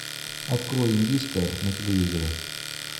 открой индийское на телевизоре